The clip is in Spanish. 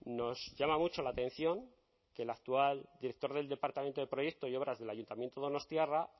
nos llama mucho la atención que el actual director del departamento de proyectos y obras del ayuntamiento donostiarra